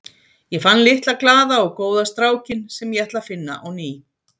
Ég fann litla, glaða og góða strákinn sem ég ætla að finna á ný.